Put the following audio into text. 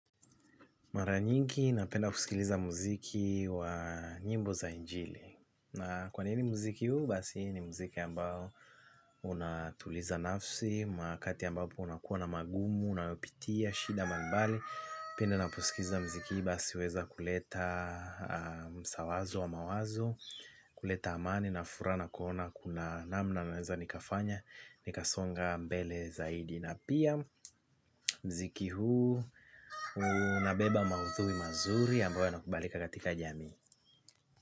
Mara nyingi napenda kusikiliza muziki wa nyimbo za injili. Na kwa nini muziki huu basi ni muziki ambao unatuliza nafsi wakati ambapo unakuwa na magumu, unayopitia, shida, mbalimbali. Napenda napousikiliza muziki huu basi weza kuleta ushauri wa mawazo, kuleta amani na furaha, kuona kuna namna naweza nikafanya, nikasonga mbele zaidi. Na pia muziki huu unabeba maudhui mazuri ambayo yanakubalika katika jamii.